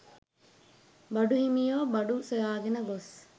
බඩු හිමියෝ බඩු සොයාගෙන ගොස්